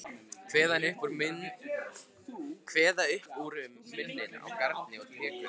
Kveða upp úr um muninn á garni og trékubb.